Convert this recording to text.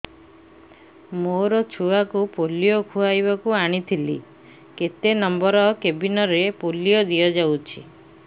ମୋର ଛୁଆକୁ ପୋଲିଓ ଖୁଆଇବାକୁ ଆଣିଥିଲି କେତେ ନମ୍ବର କେବିନ ରେ ପୋଲିଓ ଦିଆଯାଉଛି